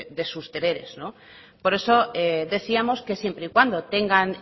de sus deberes por eso decíamos que siempre y cuando tengan